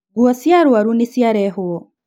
Nguo cia arwaru nĩciarehwo